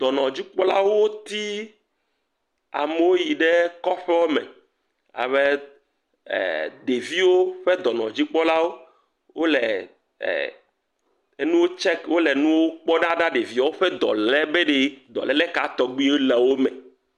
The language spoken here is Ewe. Dɔnɔdzikpɔlawo yi amewo yi ɖe kɔƒewo me alebe ɖeviwo ƒe dɔnɔdzikpɔla wole e enu tsɛki, wole enuwo kpɔ ɖa ɖa be ɖeviawo ƒe dɔle be ɖe dɔlele ka tɔgbuiwo le wò me.